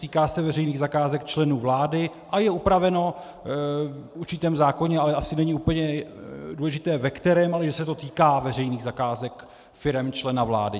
Týká se veřejných zakázek členů vlády a je upraveno v určitém zákoně, ale asi není úplně důležité, ve kterém, ale že se to týká veřejných zakázek firem člena vlády.